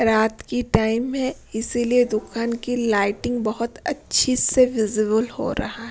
रात की टाइम है इसीलिए दुकान की लाइटिंग बहुत अच्छी से विजिबल हो रहा है।